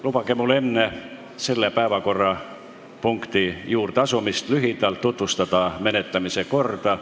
Lubage mul enne selle päevakorrapunkti juurde asumist lühidalt tutvustada menetlemise korda.